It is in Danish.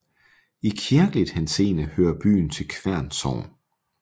I kirkelig henseende hører byen til Kværn Sogn